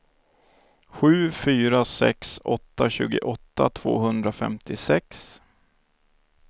sju fyra sex åtta tjugoåtta tvåhundrafemtiosex